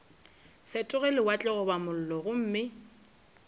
fetoge lewatle goba mollo gomme